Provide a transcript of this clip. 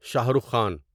Shah Rukh Khan